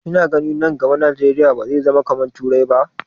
Ki na ganin nan gaba Najeriya ba zai zama kamar turai ba?